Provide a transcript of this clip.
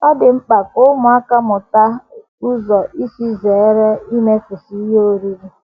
Ọ dị mkpa ka ụmụaka mụta ụzọ um isi um zere imefusị ihe um oriri